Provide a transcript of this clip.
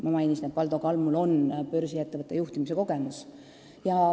Ma mainisin, et Valdo Kalmul on börsiettevõtte juhtimise kogemus.